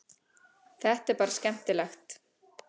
Þetta er bara skemmtilegt